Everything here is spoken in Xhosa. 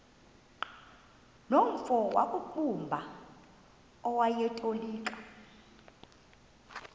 nomfo wakuqumbu owayetolika